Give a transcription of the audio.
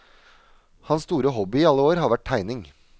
Hans store hobby i alle år har vært tegning.